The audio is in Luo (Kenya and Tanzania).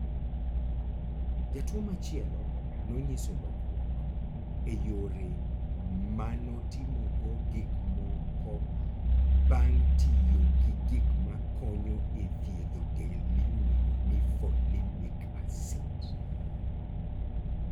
Jatuwo machielo nonyiso lokruok e yore ma notimogo gik moko bang ' tiyo gi gik makonyo e thiedho del miluongo ni folinic acid.